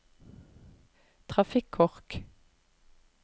trafikkork